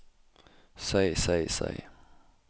seg seg seg